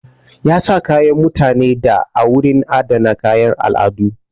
Ya sa kayan mutanen da a wurin adana kayan al'adu.